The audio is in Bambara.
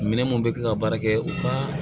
Minɛn mun bɛ kɛ ka baara kɛ u ka